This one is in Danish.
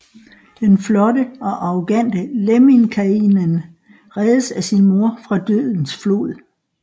Den flotte og arrogante Lemminkäinen reddes af sin mor fra dødens flod